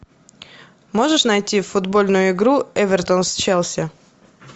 можешь найти футбольную игру эвертон с челси